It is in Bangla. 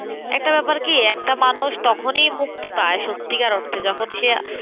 একটা ব্যাপার কি একটা মানুষ তখনই মুক্তি পায় সত্যিকার অর্থে যখন সে আহ